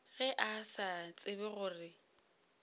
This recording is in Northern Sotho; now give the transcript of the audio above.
ge a sa tsebe gore